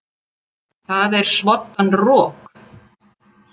Það er svoddan rok.